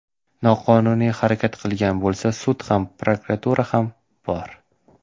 Noqonuniy harakat qilgan bo‘lsa, sud ham, prokuratura ham bor.